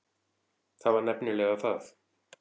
Það var nefnilega það.